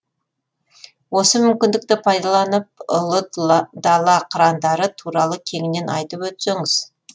осы мүмкіндікті пайдаланып ұлы дала қырандары туралы кеңінен айтып өтсеңіз